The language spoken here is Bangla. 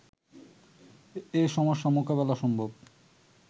এ সমস্যা মোকাবেলা সম্ভব